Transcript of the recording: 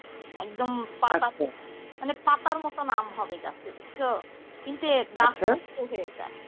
একদম পাতা থেকে মানে পাতার মতো আম হবে গাছে বুঝছো কিন্তু এর গাছে হয়ে যায়,